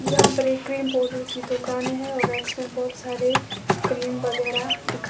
यहां पर ये क्रीम पाउडर की दुकानें है रेक्स में बहोत सारे क्रीम वगैर दिख--